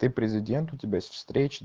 ты президент у тебя есть встречи